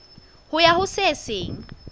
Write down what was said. ho ya ho se seng